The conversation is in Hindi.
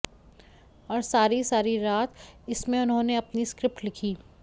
और सारी सारी रात इसमें उन्होंने अपनी स्क्रिप्ट लिखी